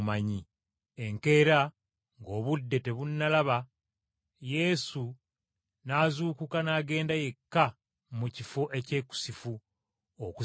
Enkeera ng’obudde tebunnalaba yesu n’azuukuka n’agenda yekka mu kifo ekyekusifu, okusaba.